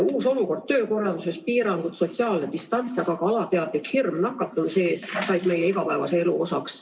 Uus olukord töökorralduses, piirangud, sotsiaalne distants, aga ka alateadlik hirm nakatumise ees on saanud meie igapäevase elu osaks.